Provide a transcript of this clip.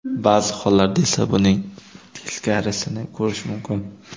Ba’zi hollarda esa buning teskarisini ko‘rish mumkin.